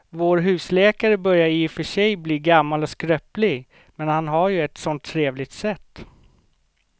Vår husläkare börjar i och för sig bli gammal och skröplig, men han har ju ett sådant trevligt sätt!